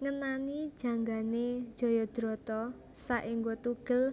Ngenani janggané jayadrata saéngga tugel